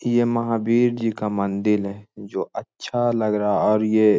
यह महावीर जी का मंदिल है जो अच्छा लग रहा है और ये--